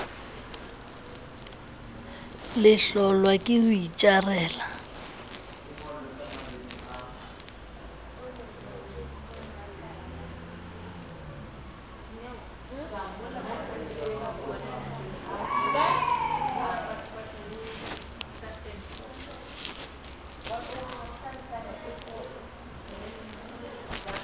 le hlolwa ke ho itjarela